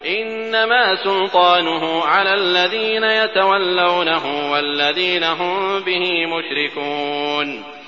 إِنَّمَا سُلْطَانُهُ عَلَى الَّذِينَ يَتَوَلَّوْنَهُ وَالَّذِينَ هُم بِهِ مُشْرِكُونَ